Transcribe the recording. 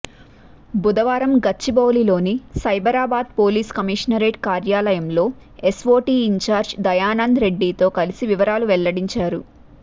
బుధవారం గచ్చిబౌలిలోని Cyberabad police commissionerate కార్యాలయంలో ఎస్వోటీ ఇన్చార్జ్ దయానంద్ రెడ్డితో కలిసి వివరాలను వెల్లడించారు